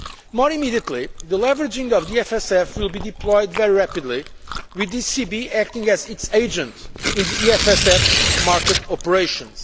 More immediately, leveraging of the EFSF will be deployed very rapidly, with the ECB acting as its agent in the EFSF market operations.